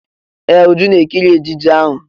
Ee! Uju ná-ekiri ejije ahụ.